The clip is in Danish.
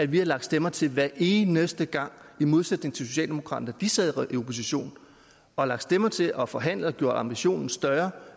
vi har lagt stemmer til hver eneste gang i modsætning til socialdemokraterne de sad i opposition har lagt stemmer til og forhandlet og gjort ambitionen større